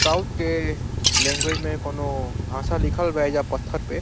South के language में कोनो भाषा लिखल बा ऐजा पत्थर पे।